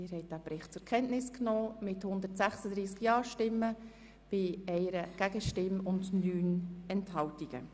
Sie haben den Bericht mit den Planungserklärungen 1 bis 6 sowie 8 und 9 zur Kenntnis genommen.